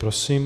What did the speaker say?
Prosím.